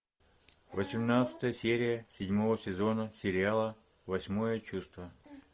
восемнадцатая серия седьмого сезона сериала восьмое чувство